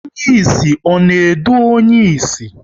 Onye ịsị ọ na edu onye ịsị?